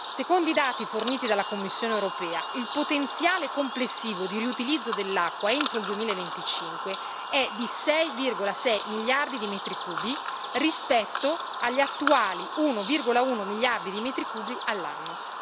Secondo i dati forniti dalla Commissione europea, il potenziale complessivo di riutilizzo dell'acqua entro il 2025 è di 6,6 miliardi di metri cubi rispetto agli attuali 1,1 miliardi di metri cubi all'anno.